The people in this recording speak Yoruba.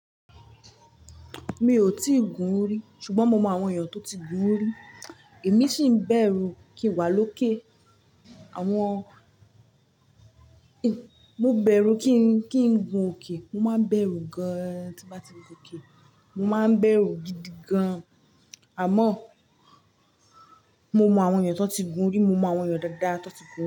Mi ò tíì gun rí, ṣùgbọ́n mo mọ àwọn èèyàn tó ti gun rí. Èmi ṣì ń bẹ̀rù kí n wá lókè. Àwọn-- mo bẹ̀rù kí ń, kí ń gun òkè. Mo máa bẹ̀rù gan tí bá ti gun òkè. Mo máa bẹ̀rù gidi gan. Àmọ́, mo mọ àwọn èèyàn tó ti gun rí, mo mọ àwọn èèyàn dáadáa tó ti gun rí.